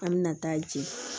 An mɛna taa jɛ